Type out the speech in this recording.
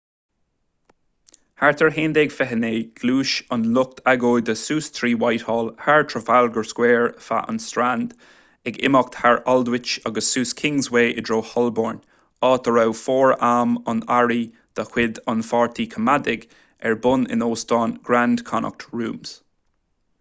thart ar 11:29 ghluais an lucht agóide suas trí whitehall thar trafalgar square feadh an strand ag imeacht thar aldwych agus suas kingsway i dtreo holborn áit a raibh fóram an earraí de chuid an pháirtí coimeádaigh ar bun in óstán grand connaught rooms